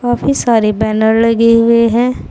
काफी सारे बैनर लगे हुए हैं।